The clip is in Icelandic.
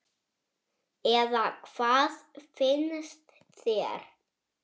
Eða hvað finnst þér?